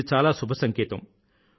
ఇది చాలా శుభ సంకేతం